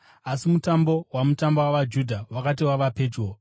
Asi Mutambo waMatumba wavaJudha wakati wava pedyo,